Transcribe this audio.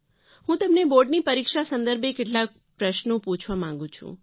હું તમને બોર્ડની પરીક્ષા સંદર્ભે કેટલાક પ્રશ્નો પૂછવા માગું છું